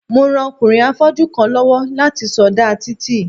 Mo ran ọkùnrin afọ́jú kan lọ́wọ́ láti sọdá títì.